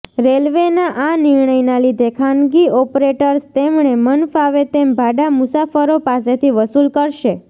રેલવેના આ નિર્ણયના લીધે ખાનગી ઓપરેટર્સ તેમને મનફાવે તેમ ભાડા મુસાફરો પાસેથી વસુલ કરશે